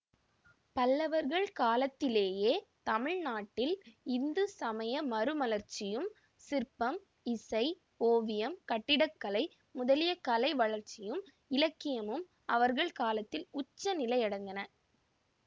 பல்லவர்கள் காலத்திலேயே தமிழ் நாட்டில் இந்து சமய மறுமலர்ச்சியும் சிற்பம்இசை ஓவியம் கட்டிடக்கலை முதலிய கலை வளர்ச்சியும் இலக்கியமும் அவர்கள் காலத்தில் உச்ச நிலையடைந்தன